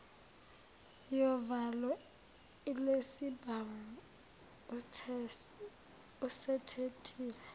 yovalo lwesibhamu usetetile